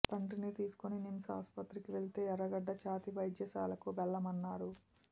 తండ్రిని తీసుకుని నిమ్స్ ఆస్పత్రికి వెళితే ఎర్రగడ్డ ఛాతి వైద్యశాలకు వెళ్లమన్నారు